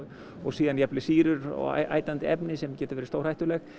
síðan jafnvel sýrur og efni sem geta verið stórhættuleg